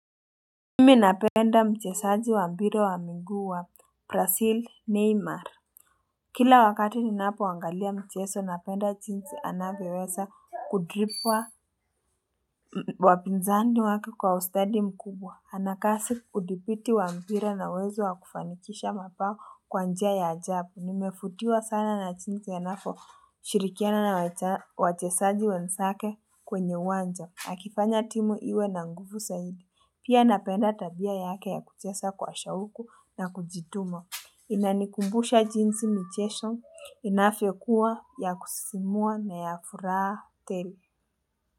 Mimi napenda mchesaji wa mpira wa miguu wa brasil Neymar Kila wakati ninapoangalia mcheso napenda jinsi anavyoweza kudripwa wapinzani wake kwa ustadi mkubwa Anakasi udhibiti wa mpira na uwezo wakufanikisha mabao kwa njia ya ajabu nimefutiwa sana na chinsi anapo shirikiana na wachesaji wensake kwenye uwanja akifanya timu iwe na nguvu saidi. Pia napenda tabia yake ya kuchesa kwa shauku na kujituma. Inanikumbusha jinsi michesho, inafyokua ya kusisimua na ya furaha tele.